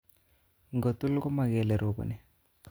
Ingotul komo kele roboni.